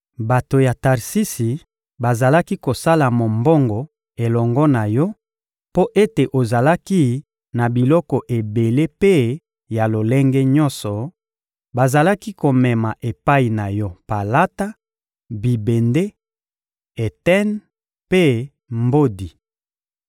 Bato ya Tarsisi bazalaki kosala mombongo elongo na yo mpo ete ozalaki na biloko ebele mpe ya lolenge nyonso; bazalaki komema epai na yo palata, bibende, eten mpe mbodi.